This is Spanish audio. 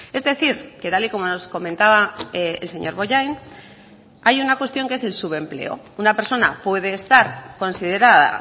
es decir que tal y como nos comentaba el señor bollain hay una cuestión que es el subempleo una persona puede estar considerada